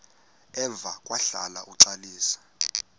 emva kwahlala uxalisa